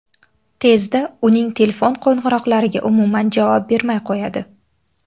Tezda uning telefon qo‘ng‘iroqlariga umuman javob bermay qo‘yadi.